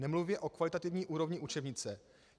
Nemluvě o kvalitativní úrovni učebnice.